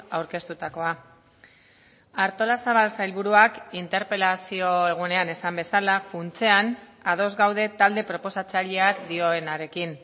aurkeztutakoa artolazabal sailburuak interpelazio egunean esan bezala funtsean ados gaude talde proposatzaileak dioenarekin